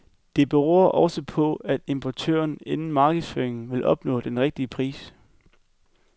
Det beror også på, at importøren inden markedsføringen ville opnå den rigtige pris.